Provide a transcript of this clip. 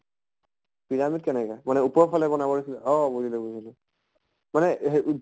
pyramid কেনেকা মানে ওপৰৰ ফালে বনাব দিছে অ বুজিলো বুজিলো। মানে হেই